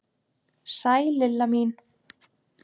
Sæl Lilla mín!